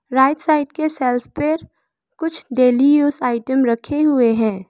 Right side के shelf पर कुछ डेली यूज आइटम रखे हुए हैं।